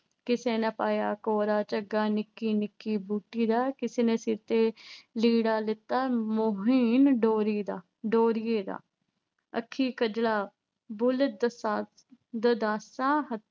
ਕਿਸੇ ਨੇ ਪਾਇਆ ਕੋਰਾ ਝੱਗਾ ਨਿੱਕੀ ਨਿੱਕੀ ਬੂਟੀ ਦਾ, ਕਿਸੇ ਨੇ ਸਿਰ ਤੇ ਲੀੜਾ ਲੈਤਾ ਮੁਹੀਨ ਡੋਰੀ ਦਾ, ਡੋਰੀਏ ਦਾ। ਅੱਖੀਂ ਕਜਲਾ, ਬੁੱਲ੍ਹ ਦਸਾ ਅਹ ਦੰਦਾਸਾ